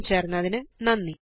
ഞങ്ങളോടൊപ്പം ചേര്ന്നതിന് നന്ദി